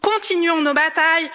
Continuons nos batailles!